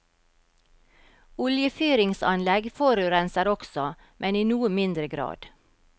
Oljefyringsanlegg forurenser også, men i noe mindre grad.